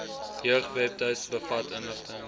jeugwebtuiste bevat inligting